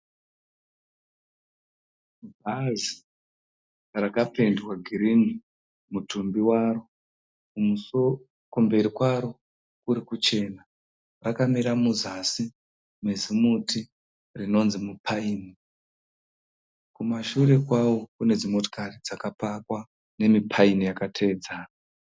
Bhazi rakapendwa girinhi mutumbi waro, kumberi kwaro kuri kuchena. Rakamira muzasi mezimuti unonzi mupaini. Kumashure kwawo kunedzimotokari dzakapakwa nemipaini yakateedzana.